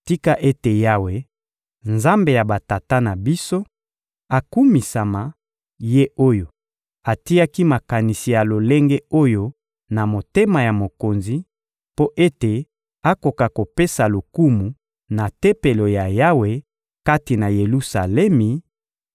Tika ete Yawe, Nzambe ya batata na biso, akumisama, Ye oyo atiaki makanisi ya lolenge oyo na motema ya mokonzi, mpo ete akoka kopesa lokumu na Tempelo ya Yawe kati na Yelusalemi,